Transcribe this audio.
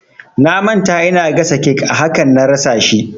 Na manta ina gasa cake a hakan na rasa shi